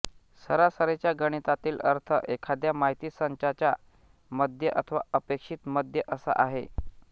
सरासरीचा गणितातील अर्थ एखाद्या माहितीसंचाचा मध्य अथवा अपेक्षित मध्य असा आहे